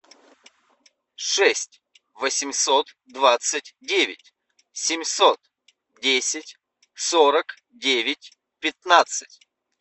шесть восемьсот двадцать девять семьсот десять сорок девять пятнадцать